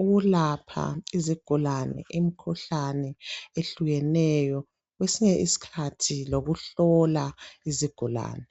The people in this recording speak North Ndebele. ukulapha izigulani imikhuhlane ehlukeneyo kwesinye isikhathi lokuhlola izigulani.